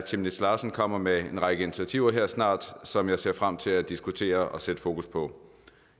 chemnitz larsen kommer med en række initiativer her snart som jeg ser frem til at diskutere og sætte fokus på